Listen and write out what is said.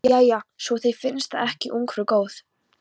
Jæja, svo þér finnst það ekki ungfrú góð.